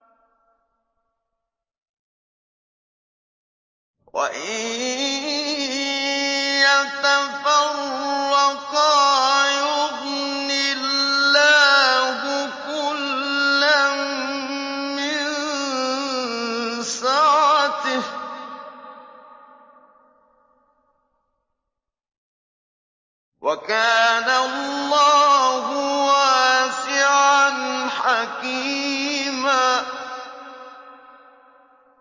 وَإِن يَتَفَرَّقَا يُغْنِ اللَّهُ كُلًّا مِّن سَعَتِهِ ۚ وَكَانَ اللَّهُ وَاسِعًا حَكِيمًا